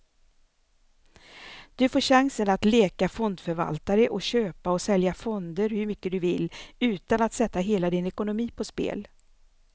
Du får chansen att leka fondförvaltare och köpa och sälja fonder hur mycket du vill, utan att sätta hela din ekonomi på spel.